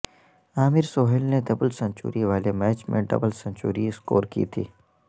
عامر سہیل نے double century والے match میں ڈبل سنچری سکور کی تھی